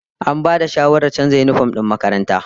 An bada shawarar canza yinifom din makarantar